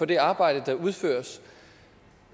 det arbejde der udføres